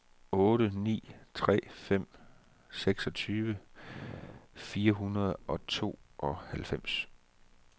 otte ni tre fem seksogtyve fire hundrede og tooghalvfems